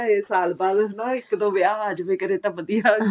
ਇਹ ਸਾਲ ਬਾਅਦ ਨਾ ਇੱਕ ਦੋ ਵਿਆਹ ਆ ਜਾਵੇ ਕਦੇ ਤਾਂ ਵਧੀਆ